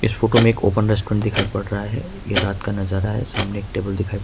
इस फोटो में एक ओपन रेस्टोरेंट दिखाई पड़ रहा है ये रात का नजारा है सामने एक टेबल दिखाई--